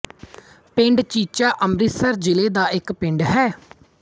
ਪਿੰਡ ਚੀਚਾ ਅੰਮ੍ਰਿਤਸਰ ਜਿਲ੍ਹੇ ਦਾ ਇੱਕ ਪਿੰਡ ਹੈ